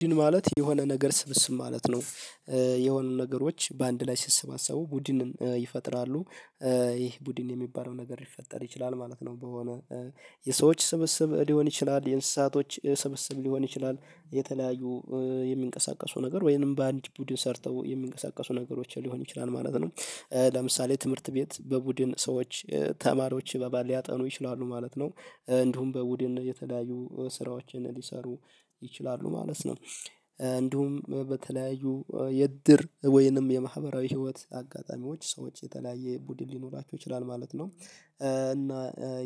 ቡድን ማለት የሆነ ነገር ስብስብ ማለት ነው። የሆነ ነገሮች በአንድ ላይ ሲስባሰቡ ቡድንም ይፈጥራሉ። ይህ ቡድን የሚባለው ነገር ይፈጠር ይችላል ማለት ነው በሆነ የሰዎች ስብስብ ሊሆን ይችላል የእንስሳቶች ስብስብ ሊሆን ይችላል የተለያዩ የሚንቀሳቀሱ ነገር ወይንም በአንድ ቡድን ሰርተው የሚንቀሳቀሱ ነገሮችን ሊሆን ይችላል ማለት ነው። ለምሳሌ ትምህርት ቤት በቡድን ሰዎች ተማሪዎች እባባን ሊያጠኑ ይችላሉ ማለት ነው። እንዲሁም በቡድን የተለያዩ ስራዎችን ሊሰሩ ይችላሉ ማለት ነው እንዲሁም በተለያዩ የድር ወይንም የማህበራዊ ህይወት አጋጣሚዎች ሰዎች የተለያየ ቡድን ሊኖራቸው ይችላል ማለት ነው። እና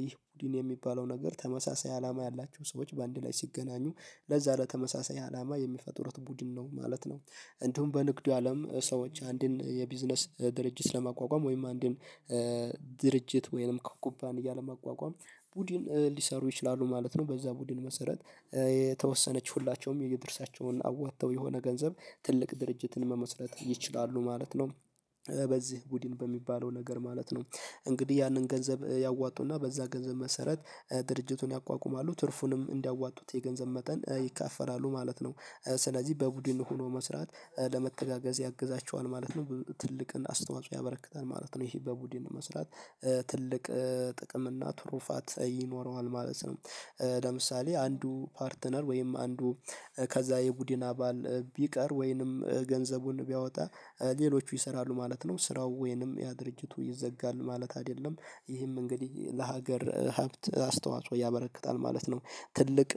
ይህ ቡድን የሚባለው ነገር ተመሳሳይ አላማ ያላቸው ሰዎች በአንድ ላይ ሲገናኙ ለዛ ለተመሳሳይ አላማ የሚፈጥሩት ቡድን ነው ማለት ነው እንዲሁም በንግዱ አለም ሰዎች አንድን የቢዝነስ ድርጅት ለማቋቋም ወይም አንድን ድርጅት ወይም ከኩባንያ ለ መቋቋም ቡድን ሊሰሩ ይችላሉ ማለት ነው። በዛ ቡድን መሰረት የተወሰነች ሁላቸውም የይድርሳቸውን አወጥተው የሆነ ገንዘብ ትልቅ ድርጅትን መመስረት ይችላሉ ማለት ነው። በዚህ ቡድን በሚባለው ነገር ማለት ነው። እንግዲህ ያንን ገንዘብ ያዋጡና በዛ ገንዘብ መሰረት ድርጅቱን ያቋቁማሉ ትርፉንም እንዲያዋጡት የገንዘብ መጠን ይከፋፈላሉ ማለት ነው። ስለዚህ በቡድን ሆኖ መስራት ለመተጋገዝ ያግዛቸዋል ማለት ነው። ብዙ ትልቅን አስተዋጽኦ ያበረክታል ማለት ነው ይሄ በቡድን መስራት ትልቅ ጥቅም እና ትሩፋት ይኖረዋል ማለት ነው። ለምሳሌ አንዱ ፓርትነር ወይም አንዱ ከዛ የቡድን አባል ቢቀር ወይንም ገንዘቡን ቢያወጣ ሌሎቹ ይሰራሉ ማለት ነው። ስራው ወይንም ያ ድርጅቱ ይዘጋል ማለት አይደለም። ይህም እንግዲህ ለሀገር ሀብት አስተዋጽኦ ያበረክታል ማለት ነው። ትልቅ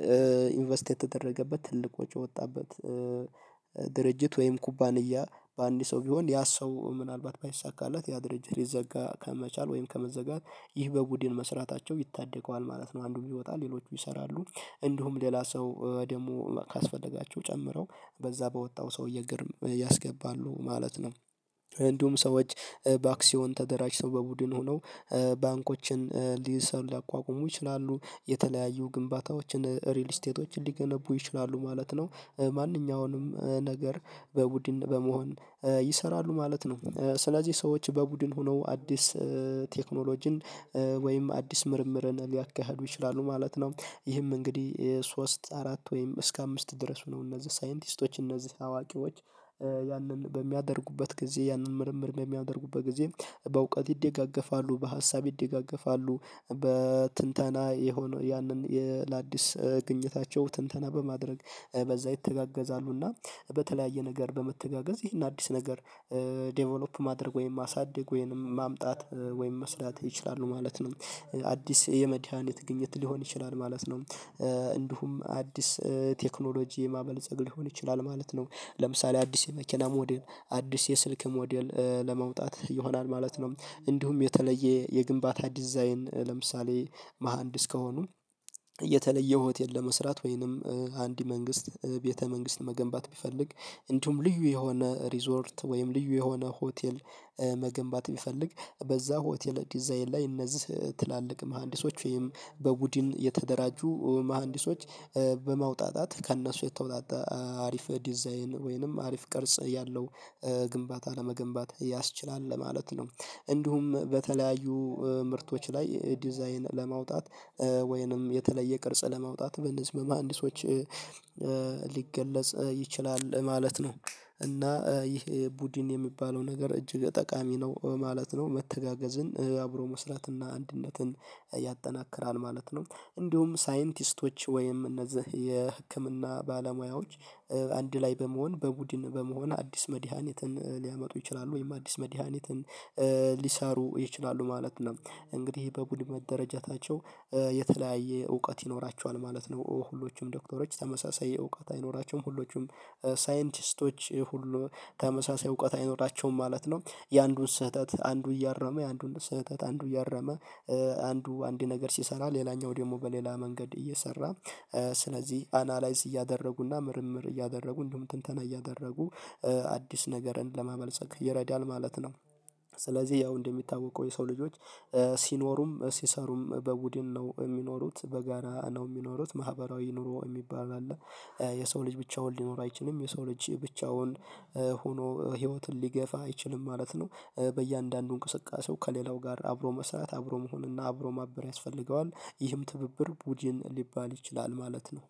ኢንቨስት የተደረገበት ትልቆች የወጣበት ድርጅት ወይም ኩባንያ በአንድ ሰው ቢሆን ያ ሰው ምናልባት ባይሳካላት ያ ድርጅት ሊዘጋ ከመቻል ወይም ከመዘጋት ይህ በቡድን መስራታቸው ይታደገዋል ማለት ነው። አንዱ ይወጣል ሌሎች ይሰራሉ እንዲሁም ሌላ ሰው ደግሞ ካስፈለጋቸው ጨምረው በዛ በወጣው ሰውዬ ግርም ያስገባሉ ማለት ነው። እንዲሁም ሰዎች በአክሲዮን ተደራጅተው በቡድን ሆነው ባንኮችን ሊሰሩ ሊያቋቁሙ ይችላሉ የተለያዩ ግንባታዎችን ሪል ስቴቶችን ሊገነቡ ይችላሉ ማለት ነው። ማንኛውንም ነገር በቡድን በመሆን ይሰራሉ ማለት ነው። ስለዚህ ሰዎች በቡድን ሆነው አዲስ ቴክኖሎጂን ወይም አዲስ ምርምርን ሊያካሂዱ ይችላሉ ማለት ነው። ይህም እንግዲህ ሶስት አራት ወይም እስከ አምስት ድረስ ነው እነዚህ ሳይንቲስቶች እነዚህ አዋቂዎች ያንን በሚያደርጉበት ጊዜ ያንን ምርምር በሚያደርጉበት ጊዜ በእውቀት ይደጋገፋሉ። በሀሳብ ይደጋገፋሉ በትንተና የሆነ ያንን ለአዲስ ግኝታቸው ትንተና በማድረግ በዛ ይተጋገዛሉ እና በተለያየ ነገር በመተጋገዝ ይህን አዲስ ነገር ዴቨሎፕ ማድረግ ወይም ማሳደግ ወይንም ማምጣት ወይም መስራት ይችላሉ ማለት ነው። አዲስ የመድሃኒት ግኝት ሊሆን ይችላል ማለት ነው። እንዲሁም አዲስ ቴክኖሎጂ የማበልጸግ ሊሆን ይችላል ማለት ነው ለምሳሌ አዲስ የመኪና ሞዴል አዲስ የስልክ ሞዴል ለመውጣት ይሆናል ማለት ነው። እንዲሁም የተለየ የግንባታ ዲዛይን ለምሳሌ መሃንድስ ከሆኑ የተለየ ሆቴል ለመስራት ወይንም አንድ መንግስት ቤተ መንግስት መገንባት ቢፈልግ እንዲሁም ልዩ የሆነ ሪዞርት ወይም ልዩ የሆነ ሆቴል መገንባት ቢፈልግ በዛ ሆቴል ዲዛይን ላይ እነዚህ ትላልቅ መሃንዲሶች ወይም በቡድን የተደራጁ መሃንዲሶች በማወጣጣት ከእነሱ የተወጣጣ አሪፍ ዲዛይን ወይንም አሪፍ ቅርጽ ያለው ግንባታ ለመገንባት ያስችላል ለማለት ነው እንዲሁም በተለያዩ ምርቶች ላይ ዲዛይን ለማውጣት ወይንም የተለየ ቅርጽ ለማውጣት በነዚህ በመሃንድሶች ሊገለጽ ይችላል ማለት ነው። እና ይህ ቡድን የሚባለው ነገር እጅግ ጠቃሚ ነው ማለት ነው። መተጋገዝን አብሮ መስራትና አንድነትን ያጠናክራል ማለት ነው። እንዲሁም ሳይንቲስቶች ወይም እነዚህ የህክምና ባለሙያዎች አንድ ላይ በመሆን በቡድን በመሆን አዲስ መድሃኒትን ሊያመጡ ይችላሉ። ወይም አዲስ መድሃኒትን ሊሳሩ ይችላሉ ማለት ነው እንግዲህ በቡድን መደረጃታቸው የተለያየ እውቀት ይኖራቸዋል ማለት ነው። ሁሎችም ዶክተሮች ተመሳሳይ እውቀት አይኖራቸውም ሁሎችም ሳይንቲስቶች ሁሉ ተመሳሳይ እውቀት አይኖራቸውም ማለት ነው። የአንዱን ስህተት አንዱ እያረመ የአንዱን ስህተት አንዱ እያረመ አንዱ አንድ ነገር ሲሰራ ሌላኛው ደግሞ በሌላ መንገድ እየሰራ ስለዚህ አናላይዝ እያደረጉና ምርምር እያደረጉ እንደውም ትንተና እያደረጉ አዲስ ነገርን ለማመልጸግ ይረዳል ማለት ነው። ስለዚህ ያው እንደሚታወቀው የሰው ልጆች ሲኖሩም ሲሰሩም በቡድን ነው የሚኖሩት በጋራ ነው የሚኖሩት ማህበራዊ ኑሮ የሚባል አለ። የሰው ልጅ ብቻውን ሊኖር አይችልም የሰው ልጅ ብቻውን ሆኖ ህይወትን ሊገፋ አይችልም ማለት ነው በእያንዳንዱ እንቅስቃሴው ከሌላው ጋር አብሮ መስራት አብሮ መሆን እና አብሮ ማበር ያስፈልገዋል ይህም ትብብር ቡድን ሊባል ይችላል ማለት ነው።